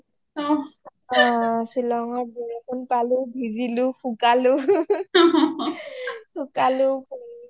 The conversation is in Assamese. অ শ্বিলংৰ বৰষুণ পালো ভিজিলো শুকালো শুকালো